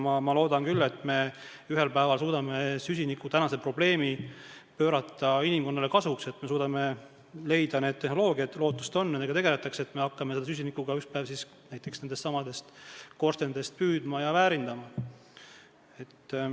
Ma loodan küll, et me ühel päeval suudame tänase süsinikuprobleemi pöörata inimkonnale kasu toovaks, me suudame leida need tehnoloogiad – lootust on, nendega tegeletakse –, et saada ükspäev hakata süsinikku nendestsamadest korstnatest püüdma ja väärindama.